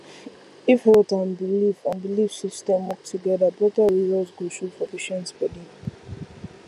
if health and belief and belief system work together better result go show for patient body